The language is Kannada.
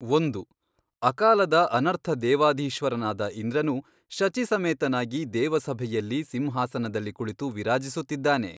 ಒಂದು, ಅಕಾಲದ ಅನರ್ಥ ದೇವಾಧೀಶ್ವರನಾದ ಇಂದ್ರನು ಶಚೀಸಮೇತನಾಗಿ ದೇವಸಭೆಯಲ್ಲಿ ಸಿಂಹಾಸನದಲ್ಲಿ ಕುಳಿತು ವಿರಾಜಿಸುತ್ತಿದ್ದಾನೆ.